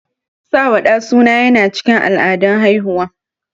Sawa ɗa suna yana cikin al'adun haihuwa.